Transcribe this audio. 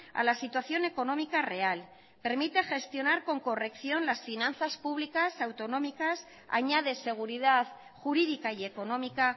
a la situación económica real permite gestionar con corrección las finanzas públicas autonómicas añade seguridad jurídica y económica